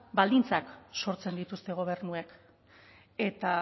baldintzak sortzen dituzte gobernuek eta